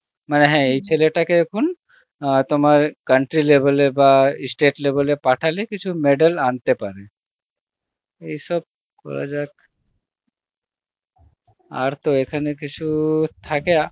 মানে এই ছেলে টাকে এখন অ্যাঁ তোমার country level এ বা state level এ পাঠালে কিছু medal আনতে পারে, এই সব করা যাক, আর তো এখানে কিছু থাকে